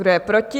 Kdo je proti?